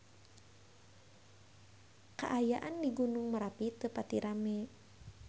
Kaayaan di Gunung Merapi teu pati rame